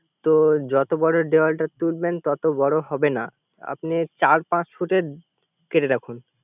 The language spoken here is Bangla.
তো যত বর দেওয়ালটা তুলবেন তত বর হবে না। আপনি চার পাচ ফুটের কেটে রাখুন